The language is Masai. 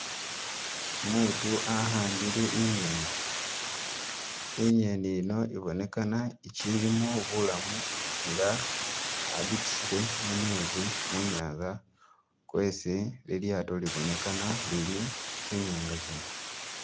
Umutu ahambile inyeni, iyeni iyino ibonekana ichilimo bulamu nga ajitusile mumezi munyanza kwesi lilyaato libonekana lili, tsinyanga tsino.